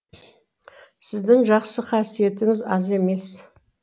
сіздің жақсы қасиетіңіз аз емес